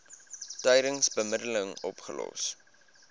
tydens bemiddeling opgelos